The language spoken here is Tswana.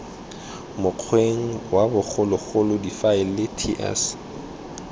mokgweng wa bogologolo difaele ts